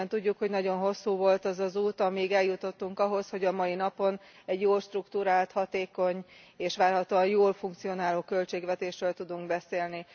Mindannyian tudjuk, hogy nagyon hosszú volt az az út, amíg eljutottunk ahhoz, hogy a mai napon egy jól strukturált, hatékony és várhatóan jól funkcionáló költségvetésről tudunk beszélni.